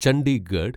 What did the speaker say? Chandigarh